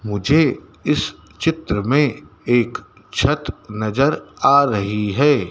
मुझे इस चित्र में एक छत नजर आ रही है।